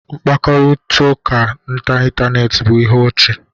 Mkpakọrịta n'ịntanetị bụ ihe ọchị